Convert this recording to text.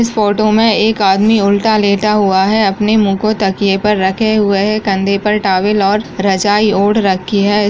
इस फोटो मे एक आदमी उलटा लेटा हुआ है अपने मुह को तकिये पे रखे हुए है कंधे पर टाउल ओर रजाई ओढ़ रखी है।